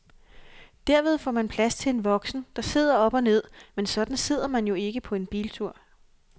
Derved får man plads til en voksen, der sidder op og ned, men sådan sidder man jo ikke på en biltur.